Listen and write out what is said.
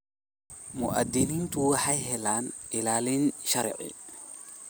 Muwaadiniintu waxay helaan ilaalin sharci.